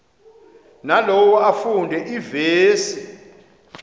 nalowo afunde iivesi